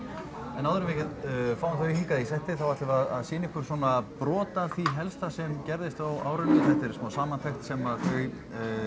en áður en við fáum þau hingað í settið þá ætlum við að sýna ykkur svona brot af því helsta sem að gerðist á árinu þetta er svona smá samantekt sem þau